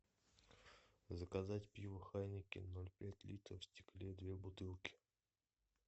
заказать пиво хайнекен ноль пять литра в стекле две бутылки